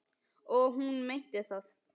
Og hún meinti það.